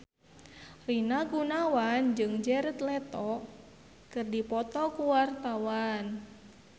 Rina Gunawan jeung Jared Leto keur dipoto ku wartawan